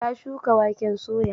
Ta shuka waken soya.